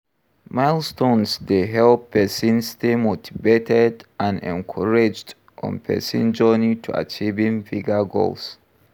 Milestones dey help pesin stay motivated and encouraged on pesin journey to achieving bigger goals.